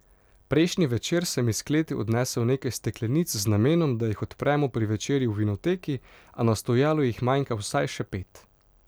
Prejšnji večer sem iz kleti odnesel nekaj steklenic z namenom, da jih odpremo pri večerji v vinoteki, a na stojalu jih manjka vsaj še pet.